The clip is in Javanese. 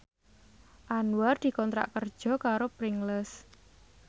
Anwar dikontrak kerja karo Pringles